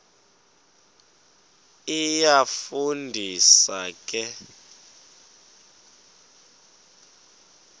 iyafu ndisa ke